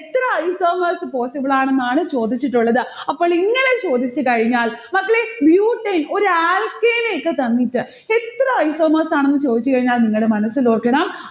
എത്ര isomers possible ആണെന്നാണ് ചോദിച്ചതിട്ടുള്ളത്. അപ്പോൾ ഇങ്ങനെ ചോദിച്ചു കഴിഞ്ഞാൽ, മക്കളെ butane ഒരു alkane ഒക്കെ തന്നിട്ട് എത്ര isomers ആണെന്ന് ചോദിച്ചുകഴിഞ്ഞാൽ നിങ്ങളുടെ മനസ്സിൽ ഓർക്കണം